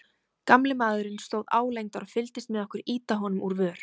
Gamli maðurinn stóð álengdar og fylgdist með okkur ýta honum úr vör.